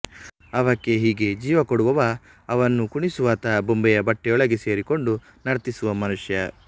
ಅವಕ್ಕೆ ಹೀಗೆ ಜೀವ ಕೊಡುವವ ಅವನ್ನು ಕುಣಿಸುವಾತ ಬೊಂಬೆಯ ಬಟ್ಟೆಯೊಳಗೆ ಸೇರಿಕೊಂಡು ನರ್ತಿಸುವ ಮನುಷ್ಯ